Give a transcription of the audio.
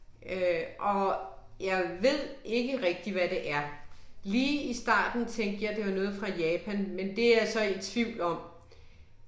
Øh og jeg ved ikke rigtig hvad det er. Lige i starten tænkre jeg det var noget fra Japan, men det jeg så i tvivl om